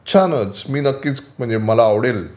छानच. मी नक्कीच. म्हणजे मला आवडेल